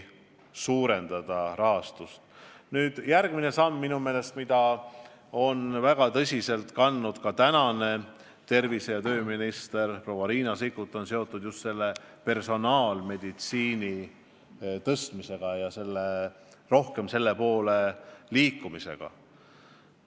Üks samm, mille eest on väga tõsiselt seisnud ka tervise- ja tööminister proua Riina Sikkut, on seotud personaalmeditsiini arendamisega ja rohkem selle poole liikumisega.